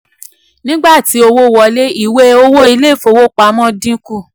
nígbà tí owó wọlé ìwé owó ilé ìfowopamọ́ dínkù.